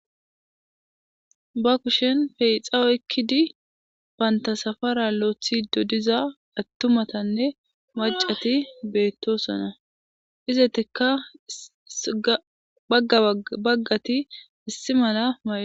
Ba kushen peexa oykkidi bantta safara loythide diza atumatan maccati betosona izets baga baga issi mala....,